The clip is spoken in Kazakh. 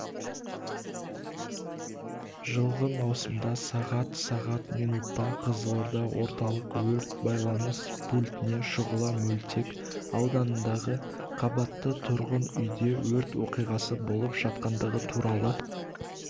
жылғы маусымда сағат сағат минутта қызылорда орталық өрт байланыс пультіне шұғыла мөлтек ауданындағы қабатты тұрғын үйде өрт оқиғасы болып жатқандығы туралы